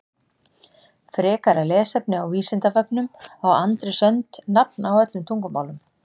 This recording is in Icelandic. Frekara lesefni á Vísindavefnum Á Andrés önd nafn á öllum tungumálum?